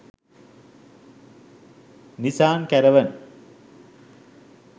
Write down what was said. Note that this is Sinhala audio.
nisan caravan